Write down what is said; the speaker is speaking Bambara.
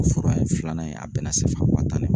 O fura in filanan in a bɛna CFA waa tan ne ma